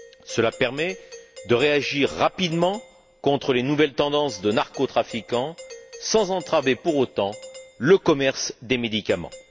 Cela permet de réagir rapidement contre les nouvelles tendances des narcotrafiquants, sans entraver pour autant le commerce des médicaments.